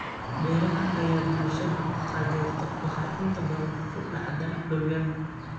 Beeraha ay bulshadu taageerto waxay inta badan ku dhacdaa dhul yar.